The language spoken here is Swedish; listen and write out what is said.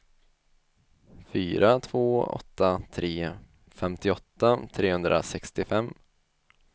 fyra två åtta tre femtioåtta trehundrasextiofem